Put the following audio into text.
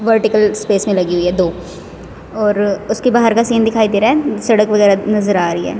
Vertical space में लगी हुई है दो और उसके बाहर का सीन दिखाई दे रहा है सड़क वगैर नजर आ रही है।